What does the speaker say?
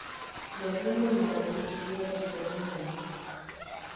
lebulunga nesitifiketi sebulunga